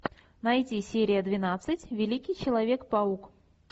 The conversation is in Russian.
найти серия двенадцать великий человек паук